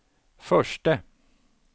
förste